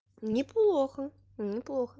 неплохо неплохо